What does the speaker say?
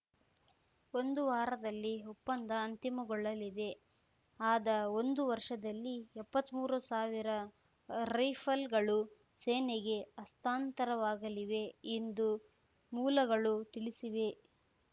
ಒಂದು ವಾರದಲ್ಲಿ ಒಪ್ಪಂದ ಅಂತಿಮಗೊಳ್ಳಲಿದೆ ಅದ ಒಂದು ವರ್ಷದಲ್ಲಿ ಎಪ್ಪತ್ಮೂರು ಸಾವಿರ ರೈಫಲ್‌ಗಳು ಸೇನೆಗೆ ಹಸ್ತಾಂತರವಾಗಲಿವೆ ಎಂದು ಮೂಲಗಳು ತಿಳಿಸಿವೆ